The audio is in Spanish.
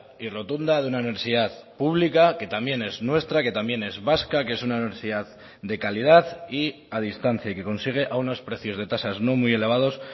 y rotunda de una universidad pública que también es nuestra que también es vasca que es una universidad de calidad y a distancia y que consigue a unos precios de tasas no muy elevados